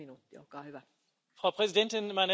Frau Präsidentin, meine Damen und Herren!